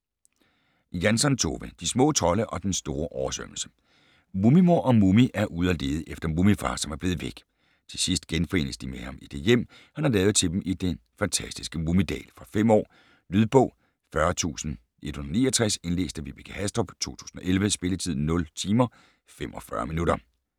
Jansson, Tove: De små trolde og den store oversvømmelse Mumimor og Mumi er ude og lede efter Mumifar, som er blevet væk. Til sidst genforenes de med ham i det hjem, han har lavet til dem i den fantastiske Mumidal. Fra 5 år. Lydbog 40169 Indlæst af Vibeke Hastrup, 2011. Spilletid: 0 timer, 45 minutter.